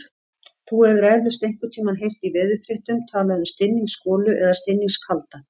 Þú hefur eflaust einhvern tímann heyrt í veðurfréttum talað um stinningsgolu eða stinningskalda.